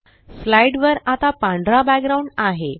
slide वर आता पांढरा बॅकग्राउंड आहे